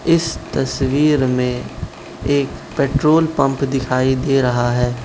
इस तस्वीर में एक पेट्रोल पंप दिखाई दे रहा है।